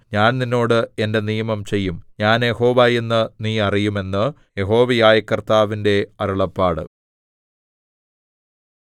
ഞാൻ നിന്നോട് എന്റെ നിയമം ചെയ്യും ഞാൻ യഹോവ എന്ന് നീ അറിയും എന്ന് യഹോവയായ കർത്താവിന്റെ അരുളപ്പാട്